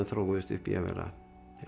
þróuðust upp í að vera